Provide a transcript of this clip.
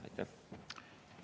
Aitäh!